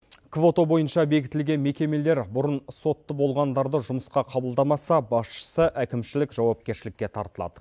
квота бойынша бекітілген мекемелер бұрын сотты болғандарды жұмысқа қабылдамаса басшысы әкімшілік жауапкершілікке тартылады